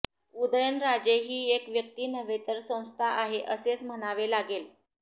उदयनराजे ही एक व्यक्ती नव्हे तर संस्था आहे असेच म्हणावे लागेल